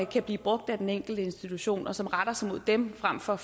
kan blive brugt af den enkelte institution og som retter sig mod dem frem for